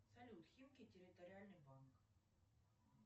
салют химки территориальный банк